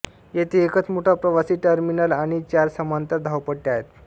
येथे एकच मोठा प्रवासी टर्मिनल आणि चार समांतर धावपट्ट्या आहेत